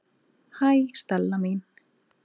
Hæ, Stella mín.